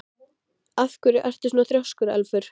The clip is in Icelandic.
Af hverju ertu svona þrjóskur, Elfur?